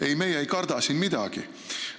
Ei, meie ei karda siin midagi.